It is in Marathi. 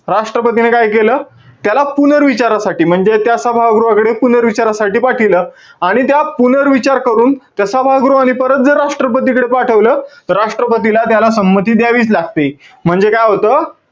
राष्ट्रपतीने काय केलं? त्याला पुनर्विचारासाठी म्हणजे त्या सभागृहाकडे पुनर्विचारासाठी पाठिवलं. आणि त्या पुनर्विचार करून त्या सभागृहांनी परत जर राष्ट्रपतीकडे पाठवलं, त राष्ट्रपतीला त्याला संमती द्यावीच लागते. म्हणजे काय होतं?